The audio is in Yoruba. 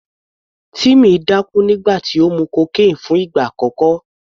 Timmy dákú nígbà tó mu cocaine fún ìgbà àkọ́kọ́.